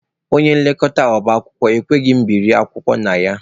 Onye nlekọta ọba akwụkwọ ekweghị ka mụ biri akwụkwọ na ya.